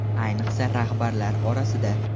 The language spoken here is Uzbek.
Ayniqsa rahbarlar orasida.